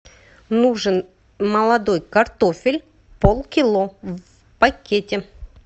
нужен молодой картофель полкило в пакете